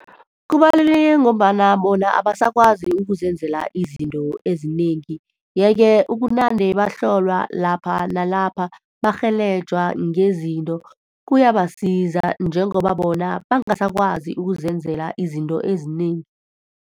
Kubaluleke ngombana bona abasakwazi ukuzenzela izinto ezinengi. Yeke, ukunande bahlolwa lapha nalapha, barhelejwa ngezinto, kuyabasiza njengoba bona bangasakwazi ukuzenzela izinto ezinengi.